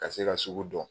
Ka se ka sugu dɔn